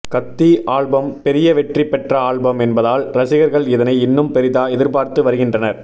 கத்தி ஆல்பம் பெரிய வெற்றி பெற்ற ஆல்பம் என்பதால் ரசிகர்கள் இதனை இன்னும் பெரிதா எதிர்பார்த்து வருகின்றனர்